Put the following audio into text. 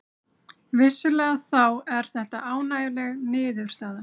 Vissulega þá er þetta ánægjuleg niðurstaða